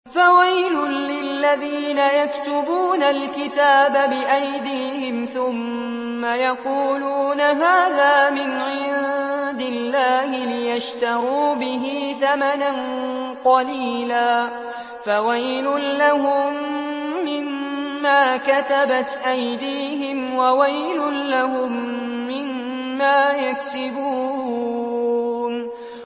فَوَيْلٌ لِّلَّذِينَ يَكْتُبُونَ الْكِتَابَ بِأَيْدِيهِمْ ثُمَّ يَقُولُونَ هَٰذَا مِنْ عِندِ اللَّهِ لِيَشْتَرُوا بِهِ ثَمَنًا قَلِيلًا ۖ فَوَيْلٌ لَّهُم مِّمَّا كَتَبَتْ أَيْدِيهِمْ وَوَيْلٌ لَّهُم مِّمَّا يَكْسِبُونَ